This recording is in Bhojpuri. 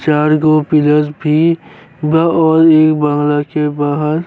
चार गो पिलर्स भी बा और इ बंगला के बाहर।